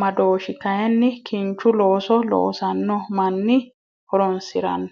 maddoshi kayini kinchu looso looasano mani horonsirano